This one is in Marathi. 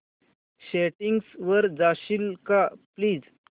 सेटिंग्स वर जाशील का प्लीज